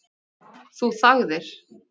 Þú þagðir.